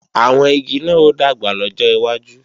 Àwọn igi náà ó dàgbà lọ́jọ́ iwájú